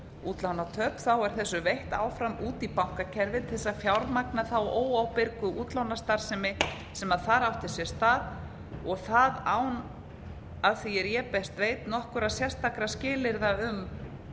útlánatöp er þessu veitt áfram út í bankakerfið til þess að fjármagna þá óábyrgu útlánastarfsemi sem þar átti sér stað og það án að því er ég best veit nokkurra sérstakra skilyrða um